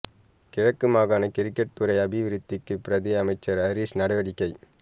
கிழக்கு மாகாண கிரிக்கெட் துறை அபிவிருத்திக்கு பிரதி அமைச்சர் ஹரீஸ் நடவடிக்கை